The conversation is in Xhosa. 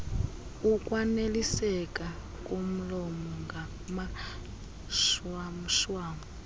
ukwaniliseka komlomo ngamashwamshwam